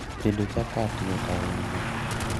Tedo chapat yot ahinya